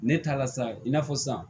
Ne taa la sa i n'a fɔ san